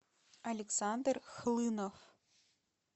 александр хлынов